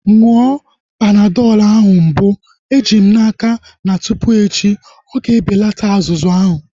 Ṅụọ Panadọl ahu mbụ. Eji m n'aka na tụpụ echi na-ọga ebelata azụzụ ahu